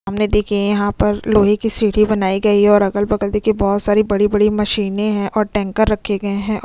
हमने देखिए यहां पर लोहे की सीढ़ी बनाई गई है और अगल बगल देखिए बहत सारी बड़ी-बड़ी मशीन ए हैं और टैंकर रखे गए हैं।